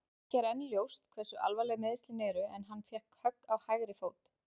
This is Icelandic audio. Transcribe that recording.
Ekki er enn ljóst hversu alvarleg meiðslin eru en hann fékk högg á hægri fót.